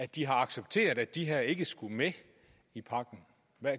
de har accepteret at de her ikke skulle med i pakken